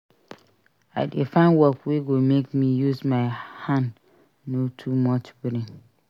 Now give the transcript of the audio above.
I dey find work wey go make me use my hand no too much brain